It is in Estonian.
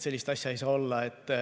Sellist asja ei saa olla.